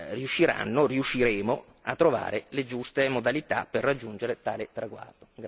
riusciranno, riusciremo, a trovare le giuste modalità per raggiungere tale traguardo.